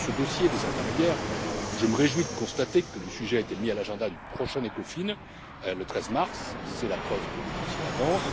Sur ce dossier des intermédiaires, je me réjouis de constater que le sujet a été mis à l'ordre du jour du prochain Ecofin le 13 mars, c'est la preuve que le dossier avance.